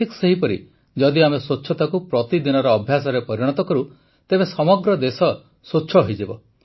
ଠିକ୍ ସେହିପରି ଯଦି ଆମେ ସ୍ୱଚ୍ଛତାକୁ ପ୍ରତିଦିନର ଅଭ୍ୟାସରେ ପରିଣତ କରୁ ତେବେ ସମଗ୍ର ଦେଶ ସ୍ୱଚ୍ଛ ହୋଇଯିବ